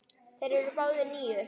Þeir eru báðir níu.